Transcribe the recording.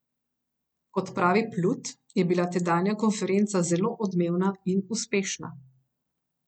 Kot pravi Plut, je bila tedanja konferenca zelo odmevna in uspešna.